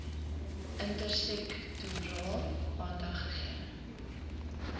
intersektoraal aandag gegee